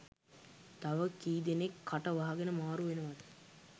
තව කීදෙනෙක් කට වහගෙන මාරු වෙනවද?